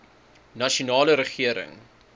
nasionale regering